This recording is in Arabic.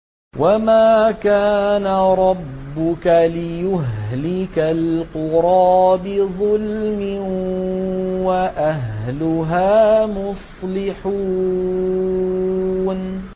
وَمَا كَانَ رَبُّكَ لِيُهْلِكَ الْقُرَىٰ بِظُلْمٍ وَأَهْلُهَا مُصْلِحُونَ